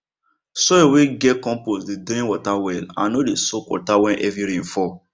soil wey get compost dey drain water well and no dey soak water when heavy rain fall